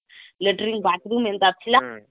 latrine bathroom ଏମତା ଥିଲା